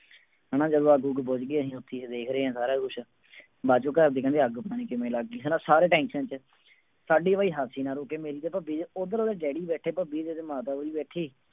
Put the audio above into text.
ਹਨਾ ਜਦੋਂ ਅੱਗ ਉੱਗ ਬੁੱਝ ਗਈ ਅਸੀਂ ਉੱਥੇ ਹੀ ਦੇਖ ਰਹੇ ਹਾਂ ਸਾਰਾ ਕੁਛ ਬਾਅਦ ਚੋਂ ਘਰਦੇ ਕਹਿੰਦੇ ਅੱਗ ਪਤਾ ਨੀ ਕਿਵੇਂ ਲੱਗ ਗਈ ਹਨਾ ਸਾਰੇ tension ਚ ਸਾਡੀ ਭਈ ਹਸੀ ਨਾ ਰੁੱਕੇ ਮੇਰੀ ਤੇ ਭੱਬੀ ਦੀ ਉੱਧਰ ਉਹਦੇ ਡੈਡੀ ਬੈਠੇ ਭੱਬੀ ਦੇ ਤੇ ਮਾਤਾ ਉਹਦੀ ਬੈਠੀ